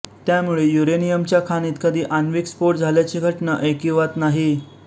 त्यामुळे युरेनियम च्या खाणीत कधी आण्विक स्फोट झाल्याची घटना ऐकिवात नाही